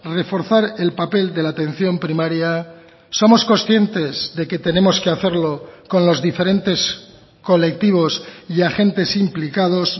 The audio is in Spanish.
reforzar el papel de la atención primaria somos conscientes de que tenemos que hacerlo con los diferentes colectivos y agentes implicados